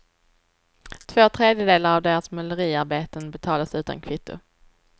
Två tredjedelar av deras måleriarbeten betalas utan kvitto.